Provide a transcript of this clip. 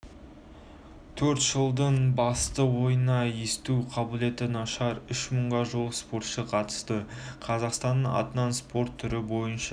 төртжылдықтың басты ойынына есту қабілеті нашар үш мыңға жуық спортшы қатысты қазақстанның атынан спорт түрі бойынша